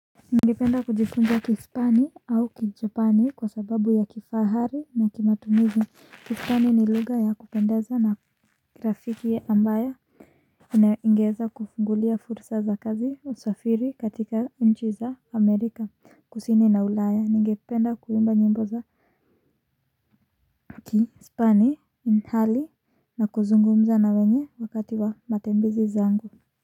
Ningependa kujifunza kispani au kijapani kwa sababu ya kifahari na kimatumizi kispani ni lugha ya kupendeza na nina rafikiye ambaye ningeza kufungulia fursa za kazi wa usafili katika nchi za amerika kusini na ulaya ningependa kuimba nyimbo za kispani ni hali na kuzungumza na wenye wakati wa matembezi zangu.